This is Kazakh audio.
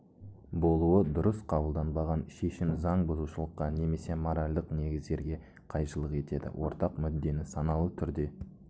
болуы дұрыс қабылданбаған шешім заң бұзушылыққа немесе моральдық негіздерге қайшылық етеді ортақ мүддені саналы түрде